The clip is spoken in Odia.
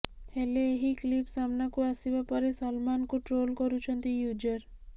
ହେଲେ ଏହି କ୍ଲିପ୍ ସାମ୍ନାକୁ ଆସିବା ପରେ ସଲମାନଙ୍କୁ ଟ୍ରୋଲ୍ କରୁଛନ୍ତି ୟୁଜର